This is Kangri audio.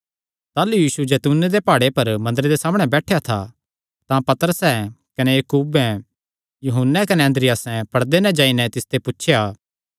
जाह़लू यीशु जैतूने दे प्हाड़े पर मंदरे दे सामणै बैठेया था तां पतरसैं कने याकूबे यूहन्ने कने अन्द्रियासे पड़दे नैं जाई नैं तिसते पुछया